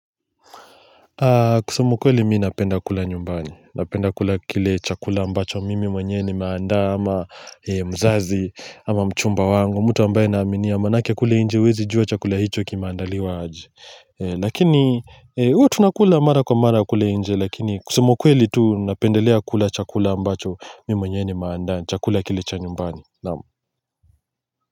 Kusema ukweli mimi napenda kula nyumbani, napenda kula kile chakula ambacho mimi mwenyewe nimeandaa ama mzazi ama mchumba wangu mtu ambaye naaminia maanake kule nje huwezi jua chakula hicho kimeandaliwa aje Lakini huwa tunakula mara kwa mara kule nje lakini kusema ukweli tu napendelea kula chakula ambacho mimi mwenyewe nimeandaa chakula kile cha nyumbani naam.